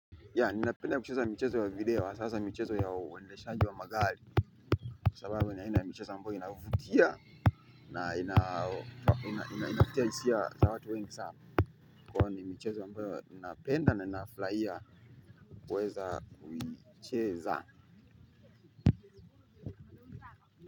Yaa inapenda kucheza mchezo wa video sasa mchezo ya wendeshaji wa magali sababu naenda na michezo ambayo inavutia na inafutia isia za watu wengi saa kwa io ni michezo ambayo ninapenda na ninaflaia kuweza kucheza.